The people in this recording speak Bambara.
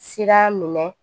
Sira minɛ